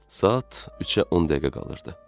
Saat 3-ə 10 dəqiqə qalırdı.